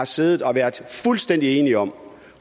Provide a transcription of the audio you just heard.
siddet og været fuldstændig enige om